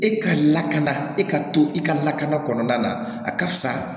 E ka lakana e ka to i ka lakana kɔnɔna na a ka fisa